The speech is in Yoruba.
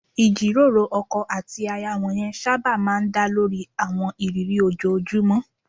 Ìjíròrò ọkọ àti aya wọ̀nyẹn sábà máa ń dá lórí àwọn ìrírí ojoojúmọ́